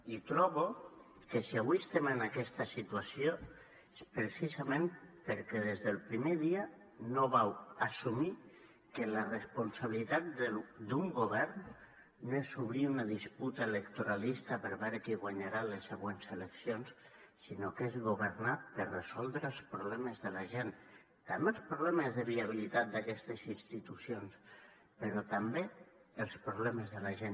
i trobo que si avui estem en aquesta situació és precisament perquè des del primer dia no vau assumir que la responsabilitat d’un govern no és obrir una disputa electoralista per veure qui guanyarà les següents eleccions sinó que és governar per resoldre els problemes de la gent també els problemes de viabilitat d’aquestes institucions però també els problemes de la gent